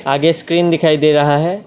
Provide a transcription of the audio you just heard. आगे स्क्रीन दिखाई दे रहा है।